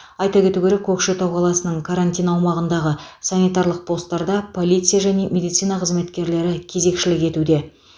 айта кету керек көкшетау қаласының карантин аумағындағы санитарлық постарда полиция және медицина қызметкерлері кезекшілік етуде